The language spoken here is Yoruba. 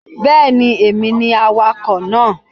Bẹ́ẹ̀ni, èmi ni awakọ̀ náà